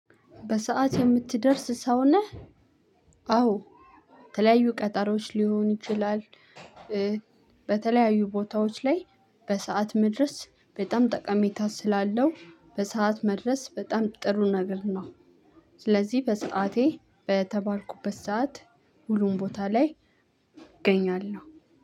በሰአት የምትደርስ ሰው ነህ? አዎ ተለያዩ ቀጠሮዎች ሊሆን ይችላል። በተለያዩ ቦታዎች ላይ በሰአት መድረስ በጣም ጠቀሜታ ስላለው በሰአት መድረስ በጣም ጥሩ ነገር ነው። ስለዚህ በሰአቴ በተባልኩበት ሰዓት ሁሉም ቦታ ላይ እገኛለሁ።